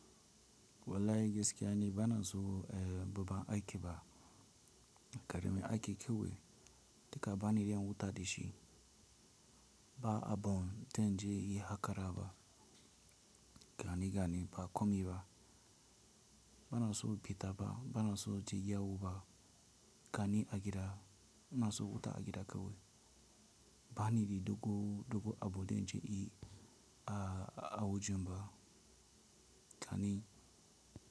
Wallahi gaskiya ne bana so babba aiki ba, karamin aiki kawai, ka bani yan huta da shi. Ba'a ban da zan je yi haƙara ba, gani gani ba komi ba. Bana son in fita fa, bana so inje yawo ba, gani a gida, ina so wuta a gida kawai. Ba ni da go, dogo abu da zan je yi a wajen ba, gani.